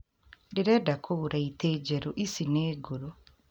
Ndĩrenda kũgũra itĩĩ njerũ ici nĩ ngũrũ